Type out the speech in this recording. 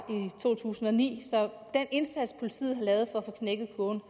to tusind og ni så den indsats politiet